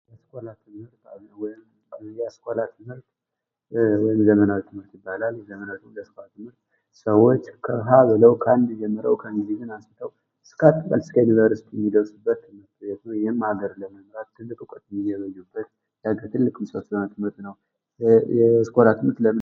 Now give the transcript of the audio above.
የአስኮላ ትምህርት ዘመናዊ ትምህርት ይባላል አንደኛ ክፍል ጀምሮ እስከ ዩንቨርስቲ እውቀት የሚገበኙበት ነው ።